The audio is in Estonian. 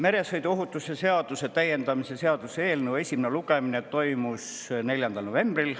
Meresõiduohutuse seaduse täiendamise seaduse eelnõu esimene lugemine toimus 4. novembril.